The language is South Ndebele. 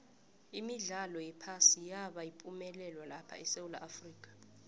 imidlalo yephasi yaba yipumelelo lapha esewula afrika